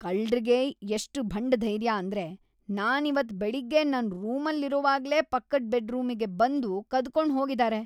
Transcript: ಕಳ್ರಿಗೆ ಎಷ್ಟ್ ಭಂಡಧೈರ್ಯ ಅಂದ್ರೆ ನಾನಿವತ್ತ್‌ ಬೆಳಗ್ಗೆ ನನ್ ರೂಮಲ್ಲಿರುವಾಗ್ಲೇ ಪಕ್ಕದ್‌ ಬೆಡ್ರೂಮಿಗ್‌ ಬಂದು ಕದ್ಕೊಂಡ್ ಹೋಗಿದಾರೆ.